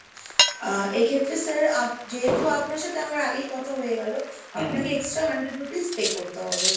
আহ এক্ষেত্রে sir যেহেতু আপনার সাথে আমার আগেই কথা হয়ে গেল, আপনাকে extra hundred rupees pay করতে হবে।